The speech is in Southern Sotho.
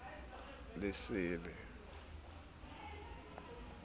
lesele ha a se a